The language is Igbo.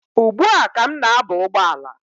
Ugbua ka m na-aba ụgbọala.